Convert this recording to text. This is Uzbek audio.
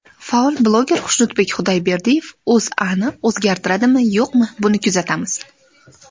Faol bloger Xushnudbek Xudoyberdiyev O‘zAni o‘zgartiradimi-yo‘qmi, buni kuzatamiz.